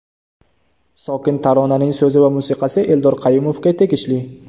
Sokin taronaning so‘zi va musiqasi Eldor Qayumovga tegishli.